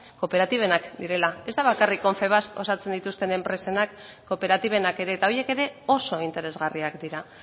kooperatibenak direla ez da bakarrik confebask osatzen dituzten enpresenak kooperatibenak ere eta horiek ere oso interesgarriak dira